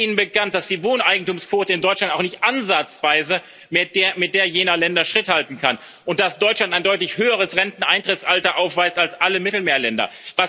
Ist Ihnen bekannt, dass die Wohneigentumsquote in Deutschland auch nicht ansatzweise mit der jener Länder Schritt halten kann und dass Deutschland ein deutlich höheres Renteneintrittsalter aufweist als alle Mittelmeerländer?